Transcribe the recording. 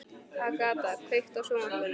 Agata, kveiktu á sjónvarpinu.